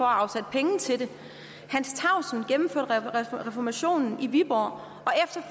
afsætte penge til det hans tausen gennemførte reformationen i viborg